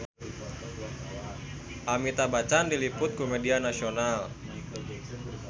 Amitabh Bachchan diliput ku media nasional